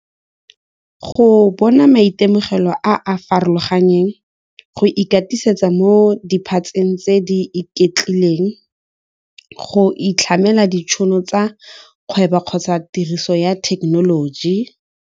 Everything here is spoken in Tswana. Go bona maitemogelo a a farologaneng go ikatisetsa mo diphatseng tse di iketlileng go itlhamela ditšhono tsa kgwebo kgotsa tiriso ya thekenoloji.